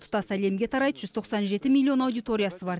тұтас әлемге тарайды жүз тоқсан жеті миллион аудиториясы бар